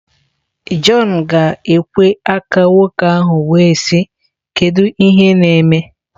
John ga ekwe aka nwoke ahụ wee sị" kedu ihe neme?